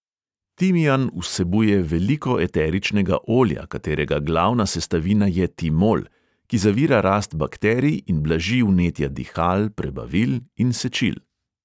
Timijan vsebuje veliko eteričnega olja, katerega glavna sestavina je timol, ki zavira rast bakterij in blaži vnetja dihal, prebavil in sečil.